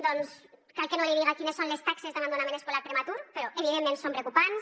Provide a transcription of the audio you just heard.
doncs cal que no li diga quines són les taxes d’abandonament escolar prematur però evidentment són preocupants